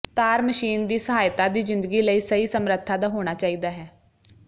ਤਾਰ ਮਸ਼ੀਨ ਦੀ ਸਹਾਇਤਾ ਦੀ ਜ਼ਿੰਦਗੀ ਲਈ ਸਹੀ ਸਮਰੱਥਾ ਦਾ ਹੋਣਾ ਚਾਹੀਦਾ ਹੈ